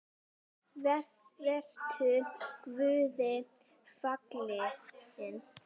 Vertu Guði falinn.